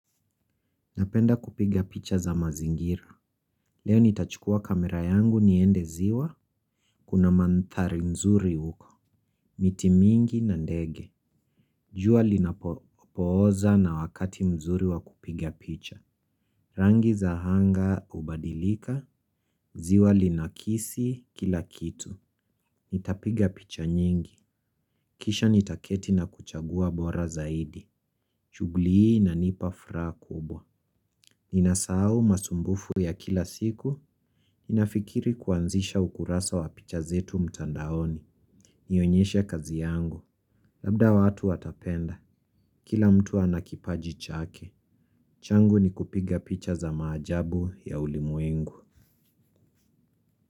Napenda kupiga picha za mazingira. Leo nitachukua kamera yangu niende ziwa. Kuna manthari mzuri huko. Miti mingi na ndege. Jua linapooza na wakati mzuri wa kupiga picha. Rangi za hanga hubadilika. Ziwa linakisi kila kitu. Nitapiga picha nyingi. Kisha nitaketi na kuchagua bora zaidi shugli hii inanipa fraha kubwa ninasahau masumbufu ya kila siku nafikiri kuanzisha ukurasa wa picha zetu mtandaoni. Nionyeshe kazi yangu. Labda watu watapenda. Kila mtu ana kipaji chake. Changu ni kupiga picha za maajabu ya ulimwengu.